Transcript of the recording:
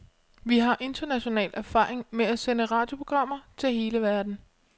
Vi har international erfaring med at sende radioprogrammer til hele verden.